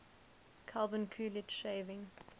calvin coolidge shaving